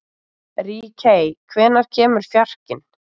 Ríkey, hvenær kemur fjarkinn?